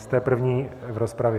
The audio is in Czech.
Jste první v rozpravě.